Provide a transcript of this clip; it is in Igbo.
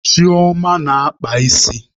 Chioma na-akpa isi.